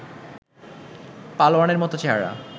পালোয়ানের মতো চেহারা